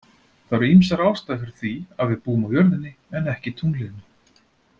Það eru ýmsar ástæður fyrir því að við búum á jörðinni en ekki tunglinu.